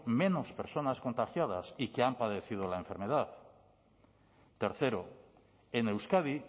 menos personas contagiadas y que han padecido la enfermedad tercero en euskadi